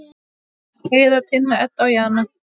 Heiða, Tinna, Edda og Jana.